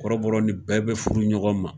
Kɔrɔbɔrɔ ni bɛɛ bɛ furu ɲɔgɔn ma.